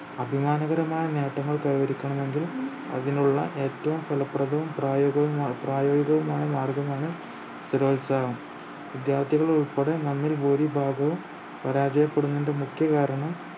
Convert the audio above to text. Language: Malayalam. അഭിമാനകരമായ നേട്ടങ്ങൾ കൈവരിക്കണമെങ്കിൽ അതിനുള്ള ഏറ്റവും ഫലപ്രദവും പ്രായോഗികവും അപ്രായോഗികവുമായ കാര്യമാണ് സ്ഥിരോത്സാഹം വിദ്യാർത്ഥികൾ ഉൾപ്പെടെ നമ്മിൽ ഭൂരിഭാഗവും പരാജയപ്പെടുന്നതിന്റെ മുഖ്യകാരണം